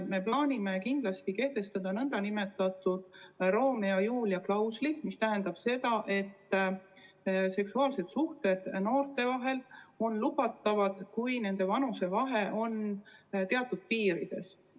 Me plaanime kindlasti kehtestada nn Romeo ja Julia klausli, mis tähendab seda, et seksuaalsed suhted noorte vahel on lubatud, kui noorte vanusevahe on teatud piirides.